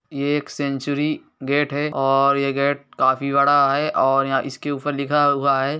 ये एक century gate है और ये गेट काफी बड़ा है और यहाँ इसके ऊपर लिखा हुआ है।